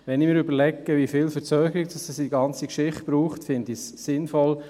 Wenn ich mir überlege, wie viel Verzögerung uns die ganze Geschichte bringt, finde ich es sinnvoll.